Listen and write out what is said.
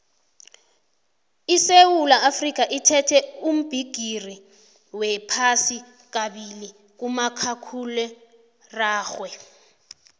isewula afrikha ithethe ubhigiri wephasi kabili kumakhakhulararhwe